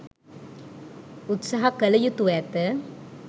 උත්සාහ කළ යුතුව ඇත.